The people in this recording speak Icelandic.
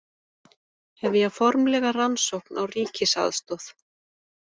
Hefja formlega rannsókn á ríkisaðstoð